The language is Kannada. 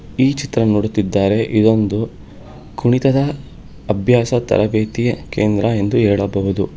ಈ ಚಿತ್ರ ನೋಡುತ್ತಿದ್ದಾರೆ ಇದೊಂದು ಕುಣಿತದ ಅಭ್ಯಾಸ ತರಬೇತಿಯ ಕೇಂದ್ರ ಎಂದು ಹೇಳಬಹುದು.